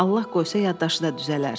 Allah qoysa yaddaşı da düzələr.